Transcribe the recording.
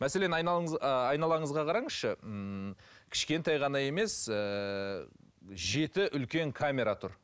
мәселен ааа айналаңызға қараңызшы ммм кішкентай ғана емес ііі жеті үлкен камера тұр